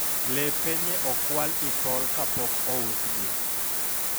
lepe nye okwal i tol kapok ousgi